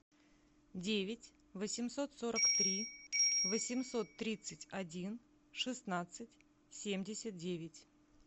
девять восемьсот сорок три восемьсот тридцать один шестнадцать семьдесят девять